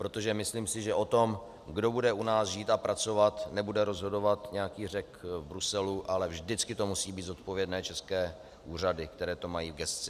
Protože myslím si, že o tom, kdo bude u nás žít a pracovat, nebude rozhodovat nějaký Řek v Bruselu, ale vždycky to musí být zodpovědné české úřady, které to mají v gesci.